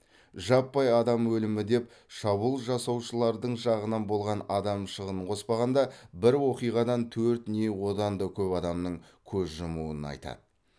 жаппай адам өлімі деп шабуыл жасаушылардың жағынан болған адам шығынан қоспағанда бір оқиғадан төрт не одан да көп адамның көз жұмуын айтады